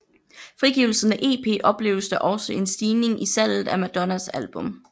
Frigivelsen af EP opleves der også en stigning i salget af Madonnas album